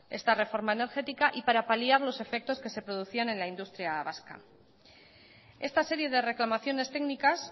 esta reforma energética y para paliar los efectos que se producían en la industria vasca esta serie de reclamaciones técnicas